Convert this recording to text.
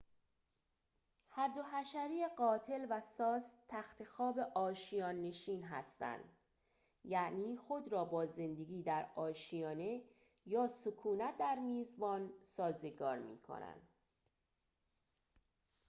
هر دو حشره قاتل و ساس تختخواب آشیان نشین هستند یعنی خود را با زندگی در آشیانه یا سکونت در میزبان سازگار می‌کنند